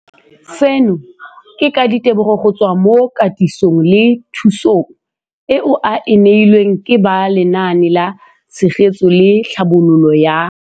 Seno ke ka ditebogo go tswa mo katisong le thu song eo a e neilweng ke ba Lenaane la Tshegetso le Tlhabololo ya